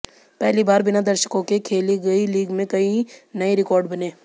पहली बार बिना दर्शकों के खेली गई लीग में कई नए रिकॉर्ड बने